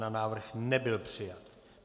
Návrh nebyl přijat.